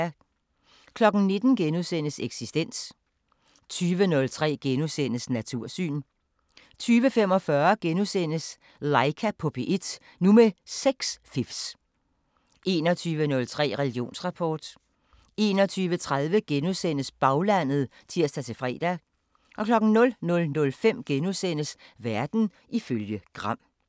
19:00: Eksistens * 20:03: Natursyn * 20:45: Laika på P1 – nu med sexfifs * 21:03: Religionsrapport 21:30: Baglandet *(tir-fre) 00:05: Verden ifølge Gram *